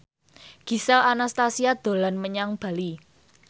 Gisel Anastasia dolan menyang Bali